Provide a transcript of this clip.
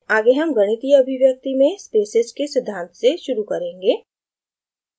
आगे हम गणितीय अभिव्यक्ति expressions में spaces के सिद्धांत से शुरू करेंगे